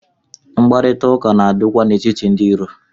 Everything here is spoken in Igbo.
Mkparịta ụka na-adị kwa n'etiti ndị iro.